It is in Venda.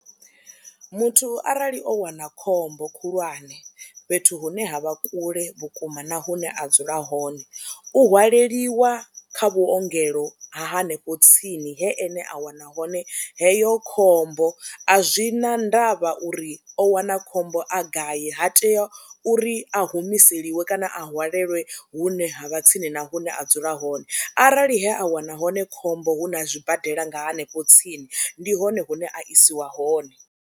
Muthu arali o wana khombo khulwane fhethu hune ha vha kule vhukuma na hune a dzula hone u hwaleliwa kha vhuongelo ha hanefho tsini he ene a wana hone heyo khombo, a zwi na ndavha uri o wana khombo a gai ha tea uri a humiseliwa kana a hwalelwe hune ha vha tsini na hune a dzula hone, arali he a wana hone khombo hu na zwibadela nga hanefho tsini ndi hone hune a isiwa hone.